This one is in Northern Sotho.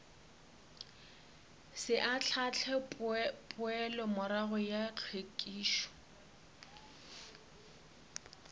se ahlaahle poelomorago ya hlwekišo